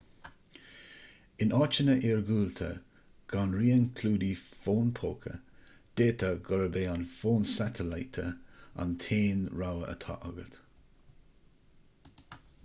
in áiteanna iargúlta gan raon clúdaigh fón póca d'fhéadfadh gurb é an fón satailíte an t-aon rogha atá agat